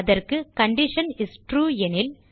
அதற்கு condition is true எனில்